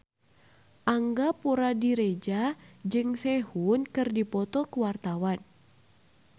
Angga Puradiredja jeung Sehun keur dipoto ku wartawan